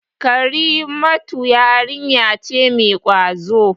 Karimatu yarinya ce mai ƙwazo.